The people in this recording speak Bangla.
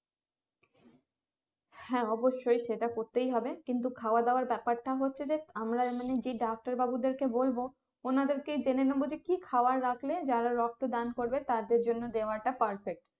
হ্যাঁ অবশ্যই সেটা করতেই হবে কিন্তু খাওয়াদাওয়ার ব্যাপারটা হচ্ছে যে আমরা যে ডাক্তার বাবু দেরকে বলবো ওনাদের কে জেনে নেবো যে কি খাবার রাখলে যারা রক্ত দান করবে তাদের জন্য দেওয়াটা perfect